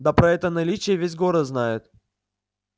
да про это наличие весь город знает